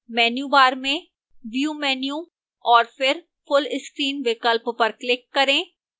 menu bar में view menu और फिर full screen विकल्प पर click करें